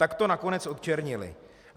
Tak to nakonec odčernili.